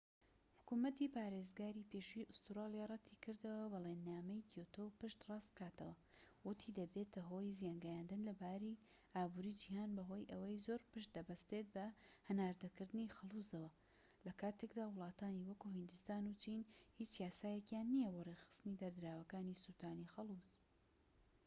حکومەتی پارێزگاری پێشووی ئوستورالیا رەتی کردەوە بەڵێننامەی کیۆتۆ پشت ڕاست بکاتەوە وتی دەبێتە هۆی زیانگەیاندن لە ئابوری جیهان بەهۆی ئەوەی زۆر پشت دەبەستێت بە هەناردەکردنی خەڵوزەوە لەکاتێکدا وڵاتانی وەکو هیندستان و چین هیچ یاسایەکیان نیە بۆ ڕێکخستنی دەردراوەکانی سوتانی خەلوز